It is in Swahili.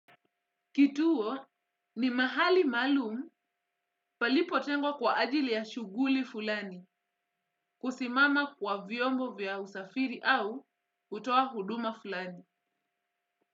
Kituo ni mahali maalum palipo tengwa kwa ajili ya shughuli fulani kusimama kwa vyombo vya usafiri au utoa huduma fulani.